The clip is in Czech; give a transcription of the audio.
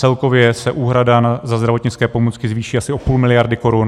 Celkově se úhrada za zdravotnické pomůcky zvýší asi o půl miliardy korun.